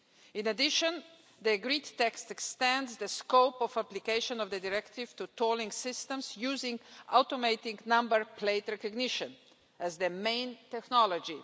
In addition, the agreed text extends the scope of application of the directive to tolling systems using automated number plate recognition as the main technology.